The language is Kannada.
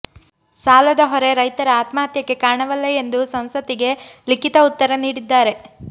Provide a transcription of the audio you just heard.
ಸಾಲದ ಹೊರೆ ರೈತರ ಆತ್ಮಹತ್ಯೆಗೆ ಕಾರಣವಲ್ಲ ಎಂದು ಸಂಸತ್ತಿಗೆ ಲಿಖಿತ ಉತ್ತರ ನೀಡಿದ್ದಾರೆ